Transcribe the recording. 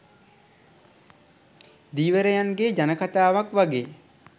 ධීවරයන්ගේ ජනකථාවක් වගේ